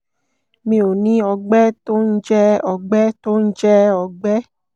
mi ò ní ọ̀gbẹ́ tó ń jẹ́ ọgbẹ́ tó ń jẹ́ ọgbẹ́